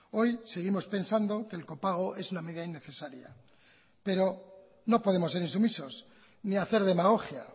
hoy seguimos pensando que el copago es una medida innecesaria pero no podemos ser insumisos ni hacer demagogia